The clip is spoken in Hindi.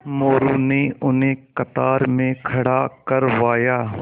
मोरू ने उन्हें कतार में खड़ा करवाया